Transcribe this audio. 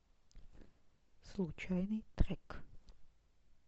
случайный трек